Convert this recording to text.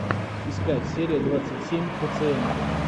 искать серия двадцать семь пациенты